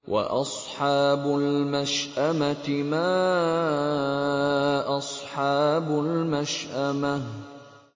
وَأَصْحَابُ الْمَشْأَمَةِ مَا أَصْحَابُ الْمَشْأَمَةِ